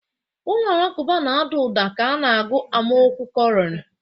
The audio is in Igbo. Ụlọ alakụba na-ada ụda ka a na-agụ amaokwu koran.